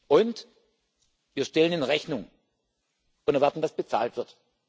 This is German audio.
Und wir stellen in Rechnung und erwarten, dass bezahlt wird.